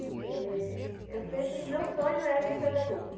Porque eu sempre, o meu sonho é ser pedagoga.